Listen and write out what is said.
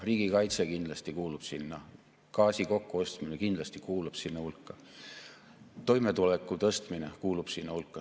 Riigikaitse kindlasti kuulub sinna hulka, gaasi kokkuostmine kindlasti kuulub sinna hulka, toimetuleku tõstmine kuulub sinna hulka.